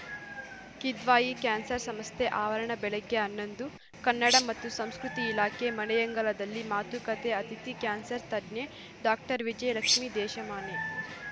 Kidwai cancer ಸಂಸ್ಥೆ ಆವರಣ ಬೆಳಗ್ಗೆ ಹನ್ನೊಂದು ಕನ್ನಡ ಮತ್ತು ಸಂಸ್ಕೃತಿ ಇಲಾಖೆ ಮನೆಯಂಗಳದಲ್ಲಿ ಮಾತುಕತೆ ಅತಿಥಿ ಕ್ಯಾನ್ಸರ್‌ ತಜ್ಞೆ ಡಾಕ್ಟರ್ ವಿಜಯಲಕ್ಷ್ಮಿ ದೇಶಮಾನೆ